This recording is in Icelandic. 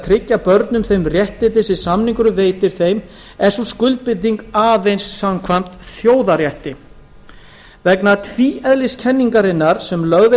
tryggja börnum þau réttindi sem samningurinn veitir þeim er sú skuldbinding aðeins samkvæmt þjóðarétti vegna tvíeðliskenningarinnar sem lögð